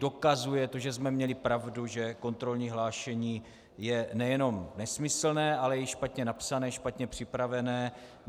Dokazuje to, že jsme měli pravdu, že kontrolní hlášení je nejenom nesmyslné, ale i špatně napsané, špatně připravené.